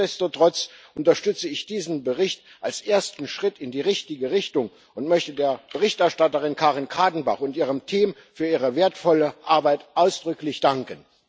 Nichtsdestotrotz unterstütze ich diesen Bericht als ersten Schritt in die richtige Richtung und möchte der Berichterstatterin Karin Kadenbach und ihrem Team für ihre wertvolle Arbeit ausdrücklich danken.